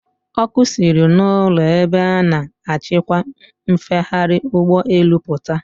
Ọkụ siri n'ụlọ ebe a na-achịkwa mfegharị ụgbọelu pụta.